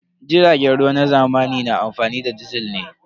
Jiragen ruwa na zamani na amfani da man disil ne.